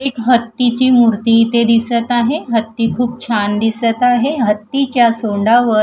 एक हत्तीची मूर्ती इथे दिसत आहे हत्ती खूप छान दिसत आहे हत्तीच्या सोंडावर--